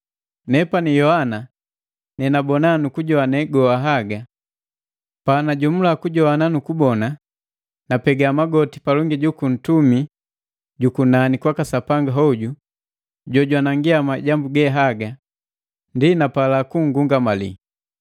Nepani Yohana, nenagajowini nukugabona haga goha. Panajomula kujogwana nukubona, napega magoti palongi juku ntumi jukunani kwaka Sapanga hoju jojwanangi majambu haga, ndi napala kunngungamali.